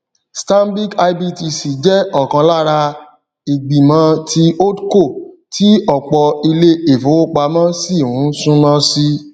stanbic ibtc jẹ ọkan lára ìgbìmọ ti holdco tí ọpọ ilé ìfowópamọ sí ń súnmọ sí